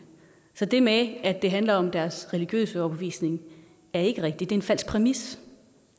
så det med at det handler om deres religiøse overbevisning er ikke rigtigt det er en falsk præmis